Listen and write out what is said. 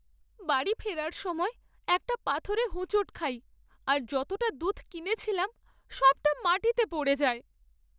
বাড়ি ফেরার সময় একটা পাথরে হোঁচট খাই আর যতটা দুধ কিনেছিলাম সবটা মাটিতে পড়ে যায়।